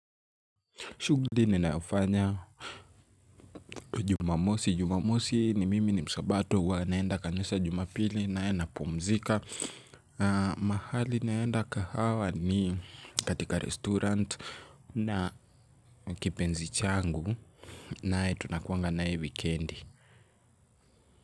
Shughuli ninayofanya jumamosi. Jumamosi ni mimi ni msabato huwa naenda kanisa jumapili nayo napumzika. Mahali naenda kahawa ni katika restaurant na kipenzi changu nae tunakuanga nae weekendi.